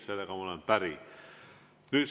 Sellega ma olen päri.